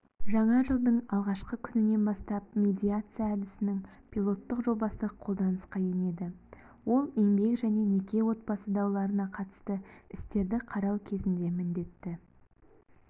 жаңа жылдың алғашқы күнінен бастап медиация әдісінің пилоттық жобасы қолданысқа енеді ол еңбек және неке-отбасы дауларына қатысты істерді қарау кезінде міндетті